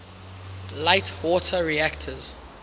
light water reactors